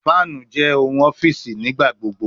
Fanu jẹ nigbagbogbo ni ohun ọfiisi